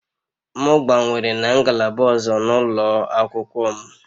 M gbanwere na ngalaba ọzọ n'ụlọ akwụkwọ m